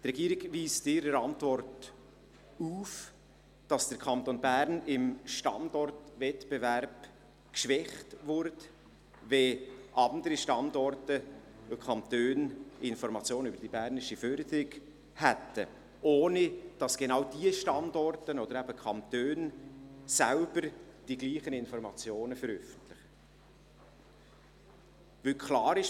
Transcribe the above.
Die Regierung zeigt in ihrer Antwort auf, dass der Kanton Bern im Standortwettbewerb geschwächt würde, wenn andere Standorte und Kantone Informationen über die bernische Förderung hätten, ohne dass genau diese Standorte oder eben Kantone selber die gleichen Informationen veröffentlichen, weil klar ist: